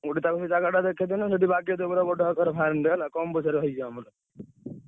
ଗୋଟେ ତାକୁ ସେ ଜାଗାଟା ଦେଖେଇଦେଲେ ସେଠି ବାଗେଇଦବ ପୁରା ବଡ ଆକାରରେ farm ଟେ ହେଲା କମ୍ ପଇସାରେ ହେଇଯିବ ଆମର।